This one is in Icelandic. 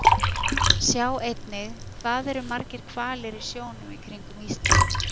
Sjá einnig Hvað eru margir hvalir í sjónum í kringum Ísland?